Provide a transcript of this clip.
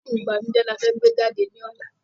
Fíìmù ìbànújẹ ni a fẹ́ gbé jáde ní ọ̀la